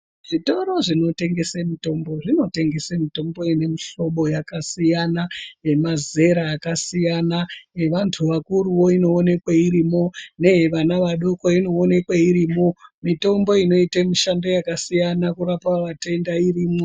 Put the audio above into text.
Zvitoro zvinotengese mitombo zvinotengese mitombo inemihlobo yakasiyana nemazera akasiyana ,yevantu vakuruwo inowonekwe irimo, neyevana vadoko inowonekwe irimo ,mitombo inoite mishando yakasiyana kurapa matenda irimo.